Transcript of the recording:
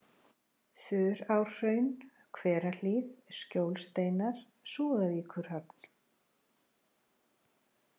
Þurárhraun, Hverahlíð, Skjólsteinar, Súðavíkurhöfn